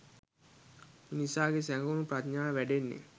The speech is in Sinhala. මිනිසාගේ සැඟවුණූ ප්‍රඥාව වැඩෙන්නේ